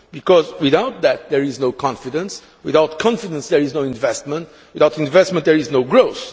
Because without that there is no confidence, without confidence there is no investment, without investment there is no growth.